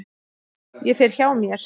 Ég fer hjá mér.